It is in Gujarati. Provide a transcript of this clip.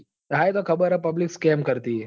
હા એ તો ખબર હ publicscam કર તી એ